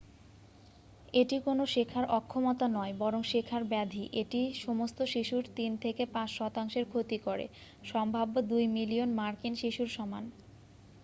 এটি কোনো শেখার অক্ষমতা নয় বরং শেখার ব্যাধি এটি সমস্ত শিশুর 3-5 শতাংশের ক্ষতি করে সম্ভাব্য 2 মিলিয়ন মার্কিন শিশুর সমান